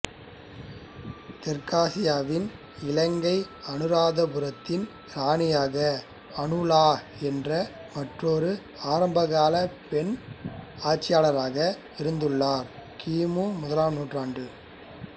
தெற்காசியாவின் இலங்கைஅனுராதபுரத்தின் இராணியாக அனுலா என்ற மற்றொரு ஆரம்பகால பெண் ஆட்சியாளராக இருந்துள்ளார் கிமு முதலாம் நூற்றாண்டு